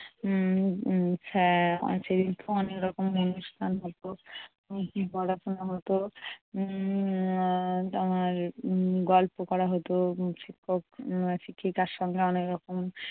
উম উম এর সেদিনকে অনেক রকম অনুষ্ঠান হতো পড়াশোনা হতো উম তোমার গল্প করা হতো। শিক্ষক শিক্ষিকার সঙ্গে অনেক রকম